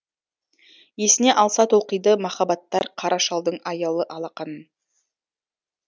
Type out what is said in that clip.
есіне алса толқиды махаббаттар қара шалдың аялы алақанын